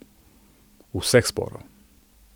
Vseh sporov.